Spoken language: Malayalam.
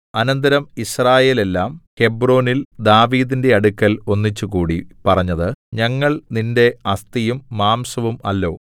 അനന്തരം യിസ്രായേലെല്ലാം ഹെബ്രോനിൽ ദാവീദിന്റെ അടുക്കൽ ഒന്നിച്ചുകൂടി പറഞ്ഞത് ഞങ്ങൾ നിന്റെ അസ്ഥിയും മാംസവും അല്ലോ